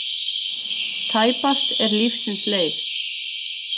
Tæpast er lífsins leið.